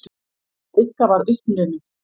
Rikka var uppnumin.